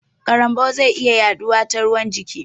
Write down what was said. Karambau zai iya yaɗuwa da ruwan jiki